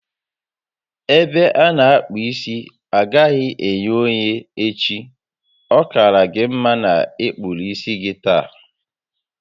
Ebe a ana akpu isi agaghi eghe oghe echi, ọ kaara gị mma na ị kpụrụ isi gị taa